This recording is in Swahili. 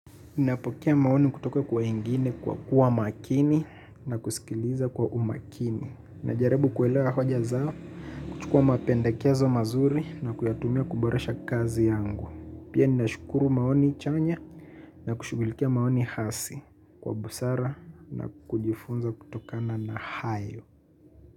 Napokea maoni kutoka kwa wengine kwa kuwa makini na kusikiliza kwa umakini. Najaribu kuelewa hoja zao, kuchukua mapendekezo mazuri na kuyatumia kuboresha kazi yangu. Pia ninashukuru maoni chanya na kushugulikia maoni hasi kwa busara na kujifunza kutokana na hayo.